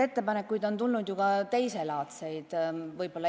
Ettepanekuid on tulnud ju ka teiselaadseid.